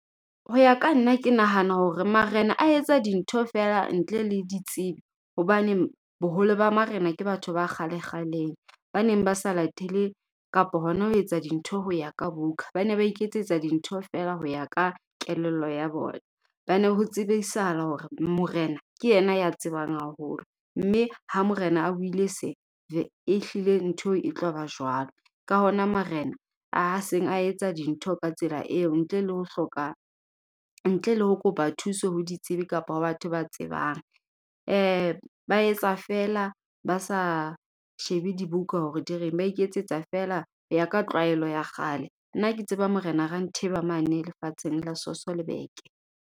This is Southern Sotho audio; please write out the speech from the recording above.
Ho ya ka nna, ke nahana hore Marena a etsa dintho feela ntle le ditsibi. Hobane boholo ba Marena ke batho ba kgale kgaleng. Ba neng ba sa latele, kapa hona ho etsa dintho ho ya ka book-a. Ba ne ba iketsetsa dintho feela ho ya ka kelello ya bona. Ba ne ho tsebisahala hore, Morena ke yena ya tsebang haholo. Mme ha Morena a buile se, e hlile ntho e tloba jwalo. Ka hona Marena a seng a etsa dintho ka tsela eo, ntle le ho hloka ntle le ho kopa thuso ho ditsibi kapa ho batho ba tsebang. Ba etsa feela basa shebe dibuka hore di reng, ba iketsetsa feela ho ya ka tlwaelo ya kgale. Nna ke tseba Morena Rantheba mane lefatsheng la Sasolburg.